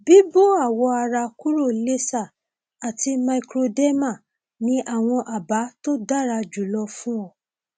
bíbó awọ ara kúrò laser àti microderma ni àwọn àbá tó dára jùlọ fún ọ